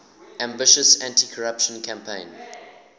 ambitious anticorruption campaign